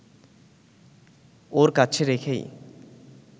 ওর কাছে রেখেই